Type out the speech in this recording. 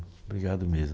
Obrigado mesmo.